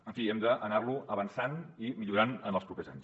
en fi hem d’anar lo avançant i millorant en els propers anys